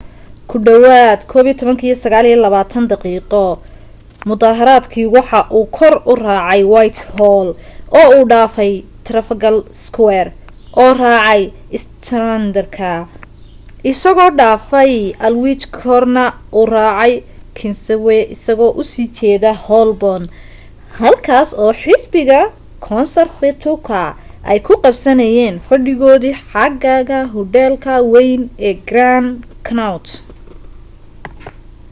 ku dhawaad 11:29 kii mudaharaadkii waxa uu kor u raacay whitehall oo uu dhaafay trafalgar square oo raacay strand ka isagoo dhaafay aldwych korna u raacay kingsway isagoo u sii jeeda holborn halkaas oo xisbiga konsartifku ay ku qabsanayeen fadhigoodii xagaaga hudheelka wayn ee grand connaught